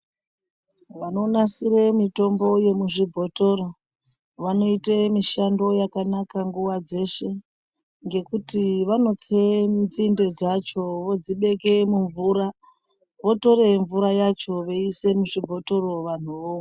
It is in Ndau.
Vanonasire mitombo yemuzvibhotoro, vanoyite mishando yakanaka nguwa dzeshe. Ngekuti vanotse mitsinde dzacho vodzibeke mumvura. Votoremvura yacho veyise muzvibhotoro, vanhu vomwa.